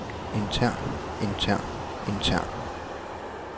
intern intern intern